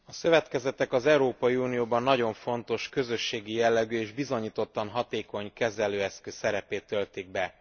A szövetkezetek az Európai Unióban nagyon fontos közösségi jellegű és bizonyítottan hatékony kezelőeszköz szerepét töltik be.